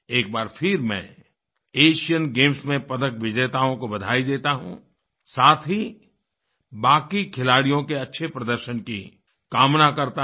एक बार फिर मैं एशियन गेम्स में पदक विजेताओं को बधाई देता हूँ साथ ही बाकी खिलाड़ियों के अच्छे प्रदर्शन की कामना करता हूँ